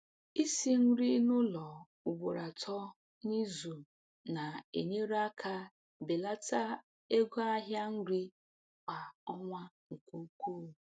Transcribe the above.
Isi nri n’ụlọ ugboro atọ n’izu na-enyere aka belata ego ahịa nri kwa ọnwa nke ukwuu.